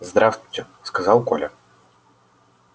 здравствуйте сказал коля